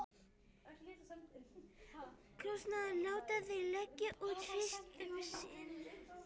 Kostnaðinn láta þeir leggja út fyrst um sinn.